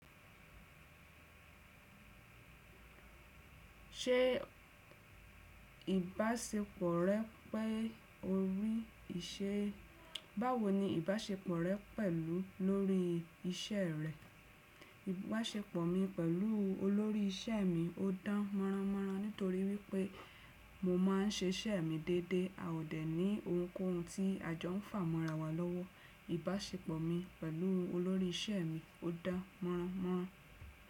Ṣé ìbáṣepọ̀ rẹ pẹ́ orí ìṣe, báwo ni ìbáṣepọ̀ rẹ pẹ̀lú olórí iṣẹ́ rẹ? Ìbáṣepọ̀ mi pẹ̀lú olórí iṣẹ́ mi ò dán mọ́rán mọ́rán nítorí wípé mo má n ṣe iṣẹ́ mi déédéé. A ò dẹ̀ ní ohunkóhun tí a jọ ń fà mọ́ra wa lọ́wọ́. Ìbáṣepọ̀ mi pẹ̀lú olórí isẹ́ mi ò dá mọ́rán mọ́rán.